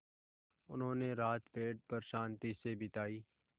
उन्होंने रात पेड़ पर शान्ति से बिताई